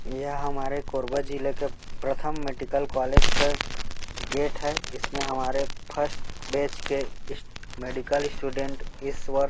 ये हमारे कोरबा जिला के प्रथम मेडिकल कॉलेज का गेट है इसमें हमारे फर्स्ट बैच के स्टू मेडिकल स्टूडेंट इस वर्ष --